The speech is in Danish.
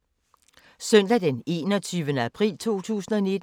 Søndag d. 21. april 2019